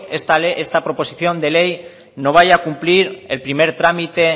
esta proposición de ley no vaya a cumplir el primer trámite